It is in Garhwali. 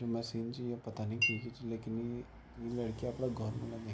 जु मशीन च यो पता नि केकी च लेकिन ई इ लड़की अपड़ा घौर मा लगी ।